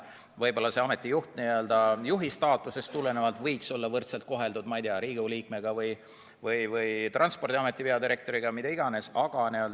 Võib-olla see ameti juht staatusest tulenevalt võiks olla võrdselt koheldud, ma ei tea, Riigikogu liikmega või Transpordiameti peadirektoriga või mida iganes.